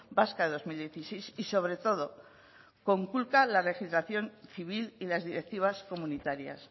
vasca de dos mil dieciséis y sobre todo conculca la legislación civil y las directivas comunitarias